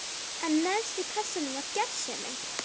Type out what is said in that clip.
En neðst í kassanum var gersemin.